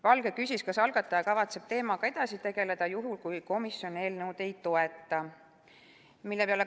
Valge küsis, kas algataja kavatseb teemaga edasi tegeleda juhul, kui komisjon eelnõu ei toeta.